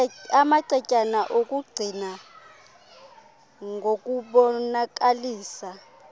amacetyana okungqina ngokubonakalisa